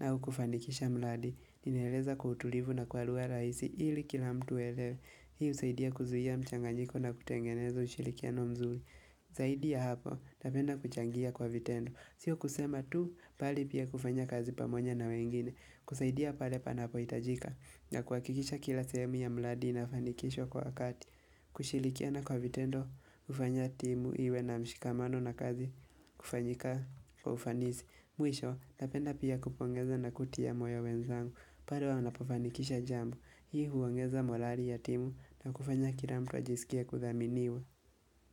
au kufanikisha mradi. Ningeeleza kwa utulivu na kwa lugha rahisi ili kila mtu aelewe. Hiu husaidia kuzuia mchanganyiko na kutengeneza ushirikiano mzuri. Zaidi ya hapo, napenda kuchangia kwa vitendo. Sio kusema tu, bali pia kufanya kazi pamoja na wengine. Kusaidia pale panapohitajika. Na kuhakikisha kila sehemu ya mradi inafanikishwa kwa kati. Kushirikia na kwa vitendo hufanya timu iwe na mshikamano na kazi kufanyika kwa ufanisi Mwisho napenda pia kupongeza na kutia moyo wenzangu pale wanapofanikisha jambo Hii huongeza morali ya timu na kufanya kila mtu ajisikie kudhaminiwa.